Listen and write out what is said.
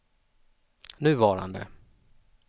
nuvarande